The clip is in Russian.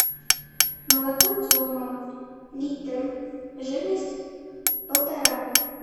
молоко тема литр жирность полтора